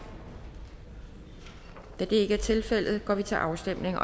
da det ikke er tilfældet går vi til afstemning